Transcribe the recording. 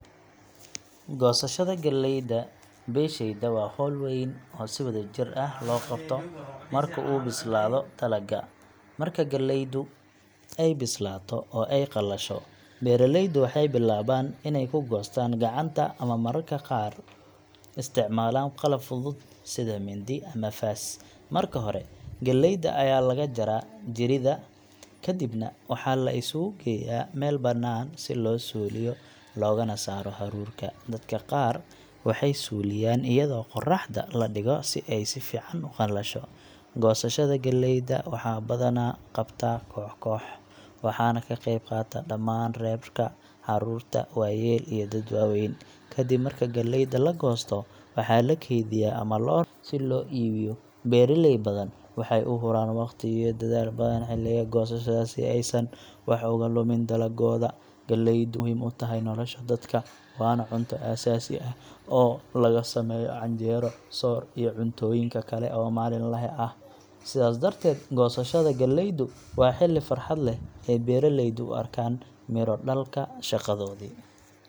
Goosashada galleyda beeshayda waa hawl weyn oo si wadajir ah loo qabto marka uu bislaado dalagga. Marka galleydu ay bislaato oo ay qalasho, beeraleydu waxay bilaabaan inay ku goostaan gacanta ama marmarka qaar isticmaalaan qalab fudud sida mindi ama faas. Marka hore, galleyda ayaa laga jaraa jirida, kadibna waxaa la isugu geeyaa meel bannaan si loo suuliyo loogana saaro haruurka. Dadka qaar waxay u suuliyaan iyadoo qorraxda la dhigo si ay si fiican u qalasho. Goosashada galleyda waxaa badanaa lagu qabtaa koox koox, waxaana ka qayb qaata dhammaan reerka — carruur, waayeel iyo dad waaweyn. Kadib marka galleyda la goosto, waxaa la keydiyaa ama loo raraa suuqyada si loo iibiyo. Beeraley badan waxay u huraan wakhti iyo dadaal badan xilliga goosashada si aysan wax uga lumin dalaggooda. Galleydu waxay muhiim u tahay nolosha dadka, waana cunto aasaasi ah oo laga sameeyo canjeero, soor, iyo cuntooyin kale oo maalinle ah. Sidaas darteed, goosashada galleydu waa xilli farxad leh oo beeraleydu u arkaan midho-dhalka shaqadoodii.